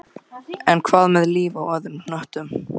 En hvað með líf á öðrum hnöttum?